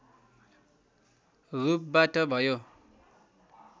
रूपबाट भयो